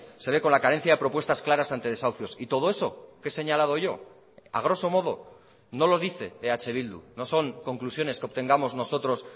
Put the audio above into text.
se ve con la carencia de propuestas claras ante desahucios y todo eso que he señalado yo a groso modo no lo dice eh bildu no son conclusiones que obtengamos nosotros